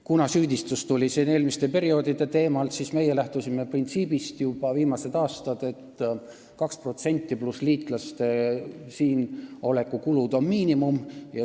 Kuna siin kõlas süüdistus perioodide teemal, siis meie lähtusime sellest printsiibist juba viimased aastad, et 2% pluss liitlaste siinoleku kulud on miinimum.